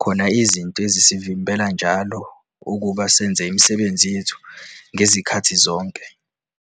khona izinto ezisivimbela njalo ukuba senze imisebenzi yethu ngezikhathi zonke.